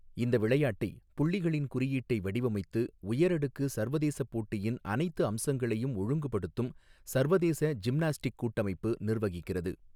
இந்த விளையாட்டை, புள்ளிகளின் குறியீட்டை வடிவமைத்து உயரடுக்கு சர்வதேச போட்டியின் அனைத்து அம்சங்களையும் ஒழுங்குபடுத்தும் சர்வதேச ஜிம்னாஸ்டிக் கூட்டமைப்பு நிர்வகிக்கிறது.